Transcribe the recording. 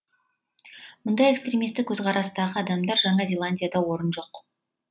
мұндай экстремистік көзқарастағы адамдарға жаңа зеландияда орын жоқ